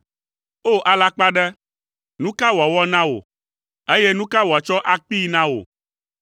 O! Alakpaɖe, nu ka wòawɔ na wò, eye nu ka wòatsɔ akpee na wò?